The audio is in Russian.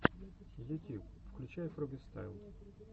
ютьюб включай фрогистайл